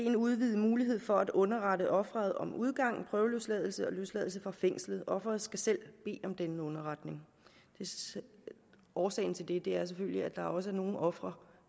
en udvidet mulighed for at underrette offeret om udgang prøveløsladelse og løsladelse fra fængslet offeret skal selv bede om denne underretning årsagen til det er selvfølgelig at der også er nogle ofre